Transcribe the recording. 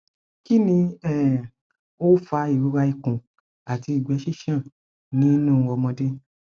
kini um o fa irora ikun ati igbe sisan ni nu omode